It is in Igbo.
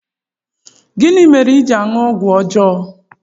Gịnị mere i ji aṅụ ọgwụ ọjọọ?